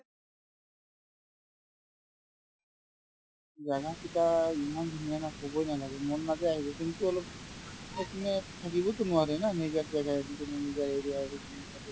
জাগাকেইটা ইমান ধুনীয়া না ক'বয়ে নালাগে মন নাযায় আহিব কিন্তু অলপ সেইপিনে থাকিবতো নোৱাৰে না নিজৰ জাগা এৰি কিনে নিজৰ area এৰি কিনে তাতে